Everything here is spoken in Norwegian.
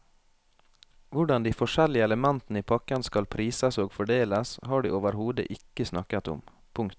Hvordan de forskjellige elementene i pakken skal prises og fordeles har de overhodet ikke snakket om. punktum